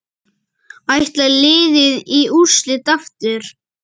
Ætlar liðið í úrslit aftur?